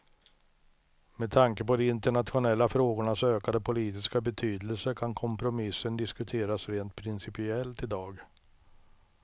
Med tanke på de internationella frågornas ökade politiska betydelse kan kompromissen diskuteras rent principiellt i dag.